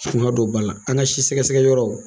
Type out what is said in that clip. Kuma dɔw b'a la, an ka sisɛsɛgɛyɔrɔ